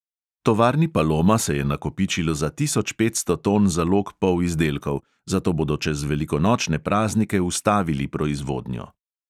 Tovarni paloma se je nakopičilo za tisoč petsto ton zalog polizdelkov, zato bodo čez velikonočne praznike ustavili proizvodnjo.